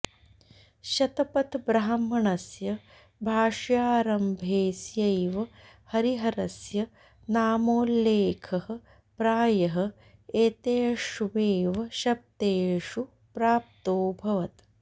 शतपथब्राह्मणस्य भाष्यारम्भेऽस्यैव हरिहरस्य नामोल्लेखः प्रायः एतेष्वेव शब्देषु प्राप्तोऽभवत्